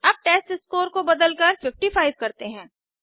अब टेस्टस्कोर को बदलकर 55 करते हैं